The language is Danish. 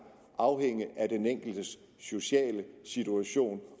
afhænge af den enkeltes sociale situation